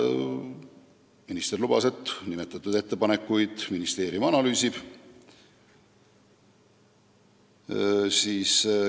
Minister lubas, et ministeerium analüüsib nimetatud ettepanekuid.